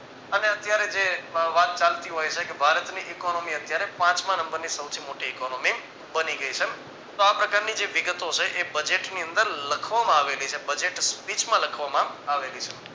અને અત્યારે જે વાત ચાલતી હોય છે કે ભારતની economy અત્યારે પાંચમા નંબરની સૌથી મોટી economy બની ગય છે. તો આ પ્રકારની જે વિગતો છે એ budget ની અંદર લખવામાં આવેલી છે budget speech માં લખવામાં આવેલી છે.